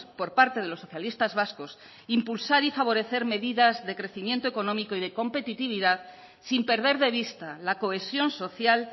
por parte de los socialistas vascos impulsar y favorecer medidas de crecimiento económico y de competitividad sin perder de vista la cohesión social